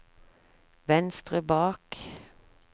venstre bak